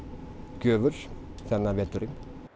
gjöful þennan veturinn